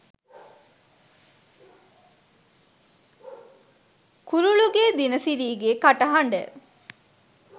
කුරුලුගේ දිනසිරිගේ කටහඬ